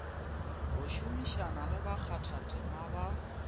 go šomišana le bakgathatema ba